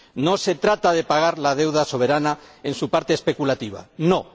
No se trata de pagar la deuda soberana en su parte especulativa, no.